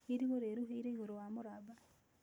Irigũ rĩruhĩire igũrũ wa mũramba